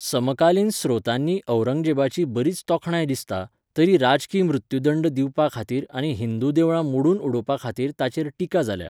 समकालीन स्रोतांनी औरंगजेबाची बरीच तोखणाय दिसता, तरी राजकी मृत्युदंड दिवपा खातीर आनी हिंदू देवळां मोडून उडोवपा खातीर ताचेर टिका जाल्या.